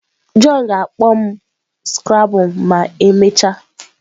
John ga-akpọ m scrabble ma emechaa.